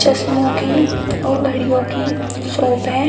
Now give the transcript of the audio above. चश्मों की और घड़ियों की शॉप है।